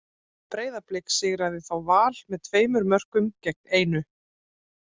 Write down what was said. Breiðablik sigraði þá Val með tveimur mörkum gegn einu.